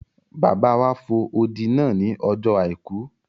Bàbá wa fo odi náà ní ọjọ́ àìkú